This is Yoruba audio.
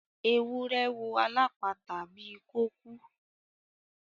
Ewúrẹ́ wò alapata bí ko kú.